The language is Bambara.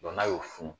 n'a y'o funu